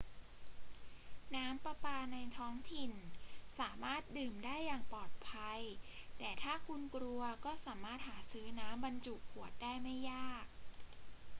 น้ำประปาในท้องถิ่นสามารถดื่มได้อย่างปลอดภัย แต่ถ้าคุณกลัวก็สามารถหาซื้อน้ำบรรจุขวดได้ไม่ยาก